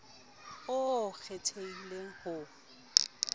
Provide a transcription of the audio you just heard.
oo o o kgethileng ho